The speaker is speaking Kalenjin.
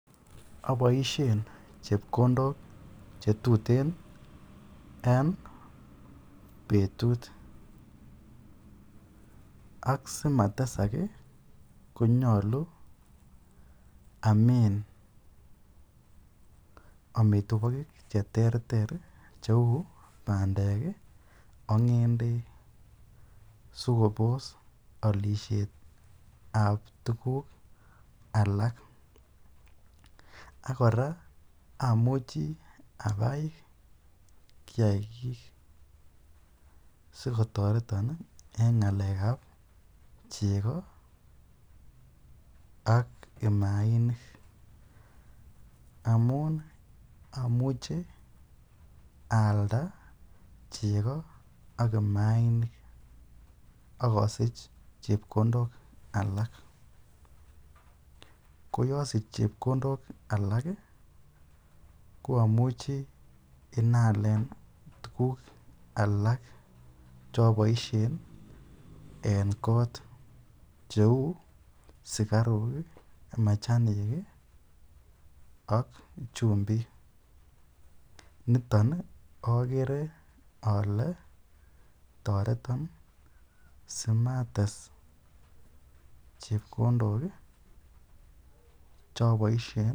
Aboishen chepkondok chetuten en betut ak simatesak konyolu amin minutik cheuu bandek ak ngendek sikobos olishetab tukuk alak ak kora amuchi abai kiakik sikotoreton en ngalekab cheko ak mainik amun amuche aalda cheko ak mainik ak kosich chepkondok alak, koyosich chepkondok alak ko amuche inyaalen tukuk alak choboishen en koot cheu sukaruk, machanik ak chumbik, niton okere olee toreton simates chepkondok choboishen.